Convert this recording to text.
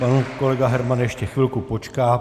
Pan kolega Herman ještě chvilku počká.